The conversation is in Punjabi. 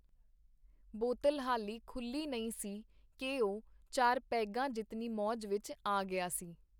ਬੋਤਲ ਹਾਲੀ ਖੁੱਲ੍ਹੀ ਨਹੀਂ ਸੀ ਕੀ ਉਹ ਚਾਰ ਪੈੱਗਾ ਜਿਤਨੀ ਮੌਜ ਵਿਚ ਆ ਗਿਆ ਸੀ.